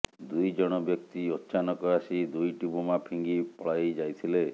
ଦୁଇ ଜଣ ବ୍ୟକ୍ତି ଅଚାନକ ଆସି ଦୁଇଟି ବୋମା ଫିଙ୍ଗି ପଳାଇ ଯାଇଥିଲେ